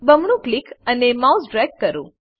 બમણું ક્લિક અને mouse drag કરો